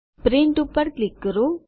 print પર click કરો